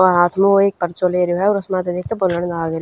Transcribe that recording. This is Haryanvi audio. और हाथ म वो एक पर्चो ले रयो ह और उसम्ह त देख क बोलण लाग रयो--